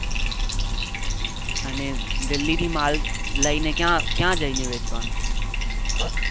અને delhi થી માળ લઇ ને ક્યાં ક્યા જી ને વેચવા નો છે.